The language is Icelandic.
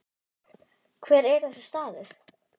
Hver er þessi staður?